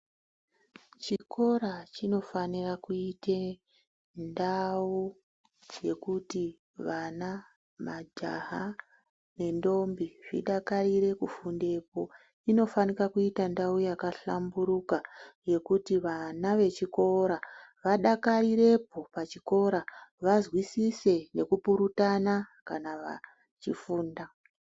Chikora chinofanira kuite ndau yokuti vana, majaha nendombi zvidakarire kufundepo. Inofanira kuita ndau yakahlamburuka yekuti vana vechikora vadakarirepo pachikora vazwisise nekupurutana kana vachifunda.